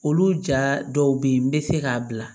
Olu ja dɔw bɛ yen n bɛ se k'a bila